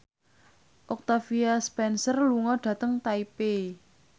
Octavia Spencer lunga dhateng Taipei